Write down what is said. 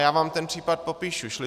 Já vám ten případ popíšu.